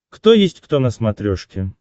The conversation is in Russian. кто есть кто на смотрешке